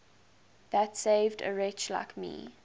that saved a wretch like me